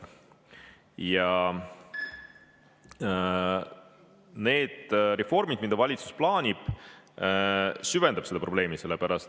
Ja need reformid, mida valitsus plaanib, süvendavad seda probleemi.